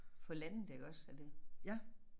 Få landet iggås og det